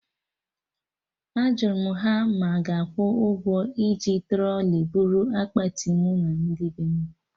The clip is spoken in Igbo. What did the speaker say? Ajụrụ m ha ma a ga-akwụ ụgwọ iji trọlị buru akpati mụ na ndị bem?